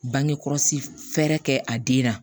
Bangekɔlɔsi fɛɛrɛ kɛ a den na